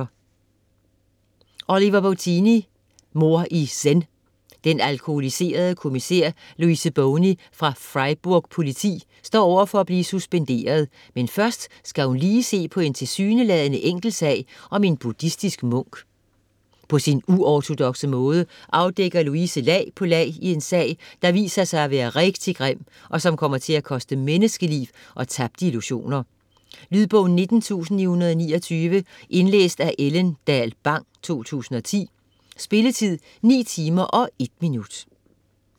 Bottini, Oliver: Mord i zen Den alkoholiserede kommissær Louise Boni fra Freiburg Politi står over for at blive suspenderet, men først skal hun lige se på en tilsyneladende enkel sag med en buddhistisk munk. På sin uortodokse måde afdækker Louise lag på lag i en sag, der viser sig at være rigtig grim, og som kommer til at koste menneskeliv og tabte illusioner. Lydbog 19929 Indlæst af Ellen Dahl Bang, 2010. Spilletid: 9 timer, 1 minutter.